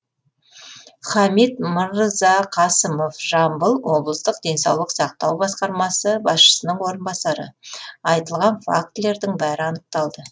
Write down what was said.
хамит мырзақасымов жамбыл облыстық денсаулық сақтау басқармасы басшысының орынбасары айтылған фактілердің бәрі анықталды